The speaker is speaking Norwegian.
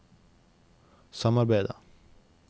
samarbeidet